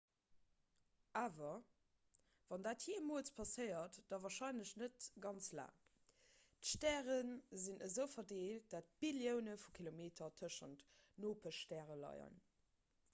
awer wann dat jeemools passéiert da warscheinlech net ganz laang d'stäre sinn esou verdeelt datt billioune vu kilometer tëschent nopeschstäre leien